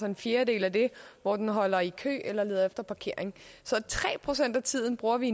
en fjerdedel af det hvor den holder i kø eller føreren leder efter parkering så tre procent af tiden bruger vi